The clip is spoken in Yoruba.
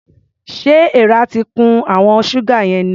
Ṣé èèrà ti kun àwọn ṣúgà yẹn ni?